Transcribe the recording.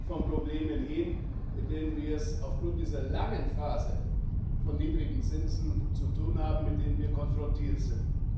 von Problemen hin, mit denen wir es aufgrund dieser langen Phase von niedrigen Zinsen zu tun haben, mit denen wir konfrontiert sind.